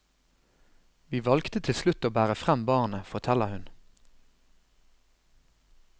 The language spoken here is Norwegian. Vi valgte til slutt å bære frem barnet, forteller hun.